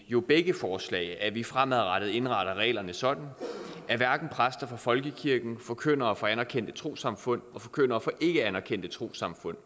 jo i begge forslag at vi fremadrettet indretter reglerne sådan at hverken præster fra folkekirken forkyndere fra anerkendte trossamfund eller forkyndere fra ikkeanerkendte trossamfund